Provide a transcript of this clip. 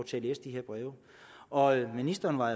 til at læse de her breve og ministeren var